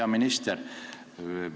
Hea minister!